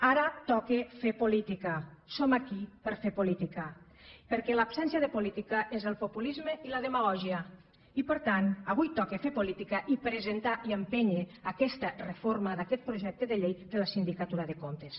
ara toca fer política som aquí per fer política perquè l’absència de política és el populisme i la demagògia i per tant avui toca fer política i presentar i empènyer aquesta reforma d’aquest projecte de llei de la sindicatura de comptes